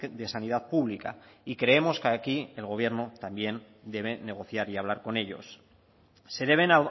de sanidad pública y creemos que aquí el gobierno también debe negociar y hablar con ellos se deben